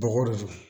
Bɔgɔ de do